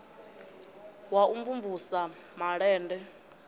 wa u mvumvusa sa malende